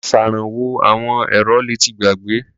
Aṣèrànwọ́ àwọn èrò le ti gbàgbé.